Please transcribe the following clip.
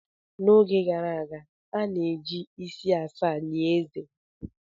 N'oge gara aga, a na-eji isi asaa lie eze.